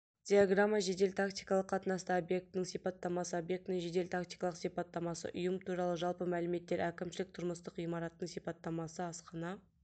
диаграмма жедел-тактикалық қатынаста объектінің сипаттамасы объектінің жедел-тактикалық сипаттамасы ұйым туралы жалпы мәліметтер әкімшілік-тұрмыстық ғимараттың сипаттамасы асхана